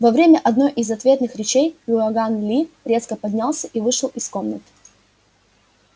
во время одной из ответных речей иоганн ли резко поднялся и вышел из комнаты